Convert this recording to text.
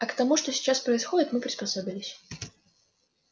а к тому что сейчас происходит мы приспособились